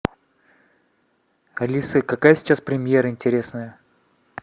алиса какая сейчас премьера интересная